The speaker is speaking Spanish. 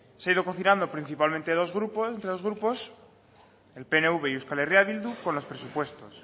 se ha ido cocinando principalmente entre dos grupos el pnv y euskal herria bildu con los presupuestos